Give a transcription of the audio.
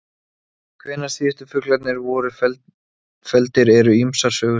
Hvenær síðustu fuglarnir voru felldir eru ýmsar sögusagnir.